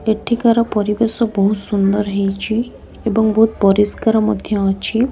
ଏଠିକାର ପରିବେଶ ବହୁତ୍ ସୁନ୍ଦର୍ ହେଇଛି ଏବଂ ବହୁତ ପରିସ୍କାର ମଧ୍ୟ ଅଛି।